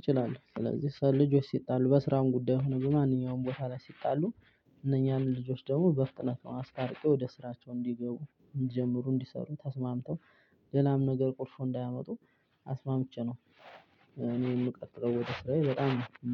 እችላለሁ ስለዚህ ሰው ልጆች ሲጣሉ በስራም ጉዳይ ሆኖ ማንኛውም ቦታ ላይ ሲጣሉ እነኛን ልጆች ደግሞ በፍጥነት ነው ምስታርቀው ወደ ስራቸው እንዲገቡ እንዲጀምሩ እንዲሰሩ ተስማምተው። ሌላም ነገር ቁርፉ እንዳያመጡ አስማምቼ ነው። እኔን የምቀጥለው ወደ ስራዬ በጣም ነው